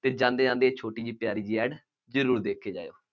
ਅਤੇ ਜਾਂਦੇ ਜਾਂਦੇ ਇਹ ਛੋਟੀ ਜਿਹੀ ਤਿਆਰੀ ਵੀ ਅੱਜ ਜ਼ਰੂਰ ਦੇਖ ਕੇ ਜਾਇਉ।